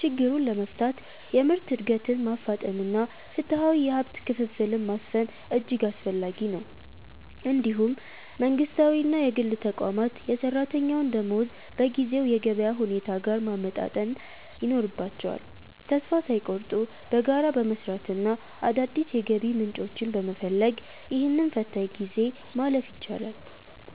ችግሩን ለመፍታት የምርት ዕድገትን ማፋጠንና ፍትሐዊ የሀብት ክፍፍልን ማስፈን እጅግ አስፈላጊ ነው። እንዲሁም መንግሥታዊና የግል ተቋማት የሠራተኛውን ደመወዝ በጊዜው የገበያ ሁኔታ ጋር ማመጣጠን ይኖርባቸዋል። ተስፋ ሳይቆርጡ በጋራ በመሥራትና አዳዲስ የገቢ ምንጮችን በመፈለግ፣ ይህንን ፈታኝ ጊዜ ማለፍ ይቻላል።